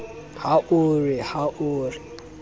ha o re ha o